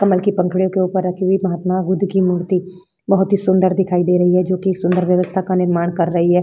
कमल की पंखुड़ियां के ऊपर रखी हुई महात्मा बुद्ध की मूर्ति बहुत ही सुंदर दिखाई दे रही है जो कि सुंदर व्यवस्था का निर्माण कर रही है।